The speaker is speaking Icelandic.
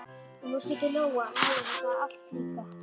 Og nú skildi Lóa-Lóa þetta allt líka.